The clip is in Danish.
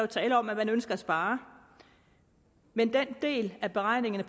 tale om at man ønsker at spare men den del af beregningerne